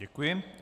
Děkuji.